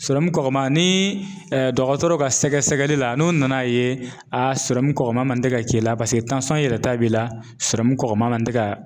kɔkɔma ni dɔgɔtɔrɔ ka sɛgɛsɛgɛli la n'o nana ye a sɔrɔmu kɔkɔma man tɛ ka k'i la paseke yɛlɛta b'i la kɔkɔma man ka tɛ ka.